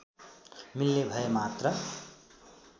मिल्ने भए मात्र